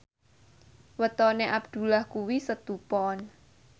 wetone Abdullah kuwi Setu Pon